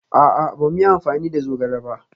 A'a, ba mu yi amfani da zogale ba